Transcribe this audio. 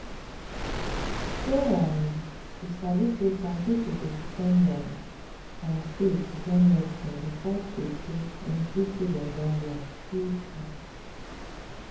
shey um you sabi say some pipo dey depend um on faith join medicine before true true dem feel say dem don well true true.